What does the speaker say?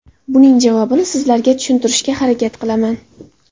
Buning javobini sizlarga tushuntirishga harakat qilaman.